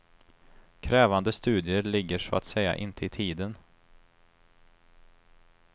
Krävande studier ligger så att säga inte i tiden.